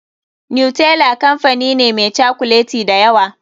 Nutella kamfani ne meh cokuleti da yawa.